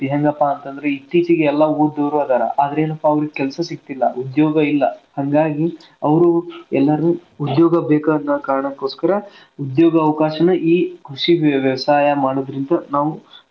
ಹೆಂಗಪ್ಪಾ ಅಂತಂದ್ರ ಇತ್ತೀಚೆಗೆ ಎಲ್ಲಾ ಓದಿದವರ್ ಅದಾರ ಆದ್ರಾ ಏನಪಾ ಅಂದ್ರ ಕೆಲ್ಸಾ ಸಿಗತಿಲ್ಲಾ ಉದ್ಯೋಗ ಇಲ್ಲಾ ಹಂಗಾಗಿ ಅವ್ರು ಎಲ್ಲರೂ ಉದ್ಯೋಗ ಬೇಕ್ ಅನ್ನೋ ಕಾರಣಕೊಸ್ಕರ ಉದ್ಯೋಗ ಅವಕಾಶನ ಈ ಕೃಷಿಗೆ ವ್ಯವಸಾಯ ಮಾಡೋದರಿಂದ ನಾವು.